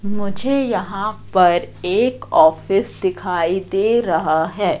मुझे यहां पर एक ऑफिस दिखाई दे रहा है।